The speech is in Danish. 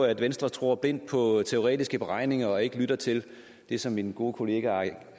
at venstre tror blindt på teoretiske beregninger og ikke lytter til det som min gode kollega herre